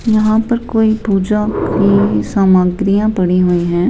यहाँ पर कोई पूजा की सामग्रियां पड़ी हुई हैं।